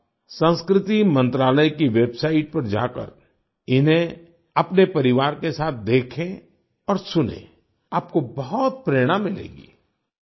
आप संस्कृति मंत्रालय की वेबसाईट पर जाकर इन्हें अपने परिवार के साथ देखें और सुनें आपको बहुत प्रेरणा मिलेगी